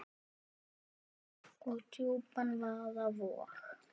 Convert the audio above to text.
og djúpan vaða vog.